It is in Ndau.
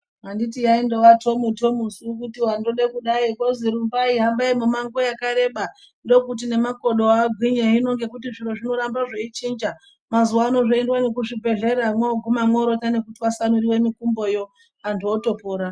Anditi yaingova tomu tomu su kuti wangode kudai ozi rumbai kwe nguwa yakareba ndokuti nemakodo agwinye hino zviro zvinoramba zveindo chinja mazuvano moenda kuzvi bhedhlera mwoguma mworonda neku twasanura mikumboyo antu atopora